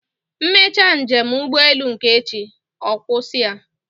M mechaa njem ụgbọelu nke echi, ọ gwụsị a